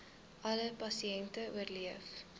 alle pasiënte oorleef